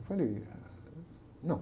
Eu falei, ah, não.